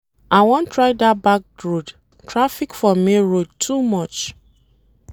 I wan try dat back road, traffic for main road too much.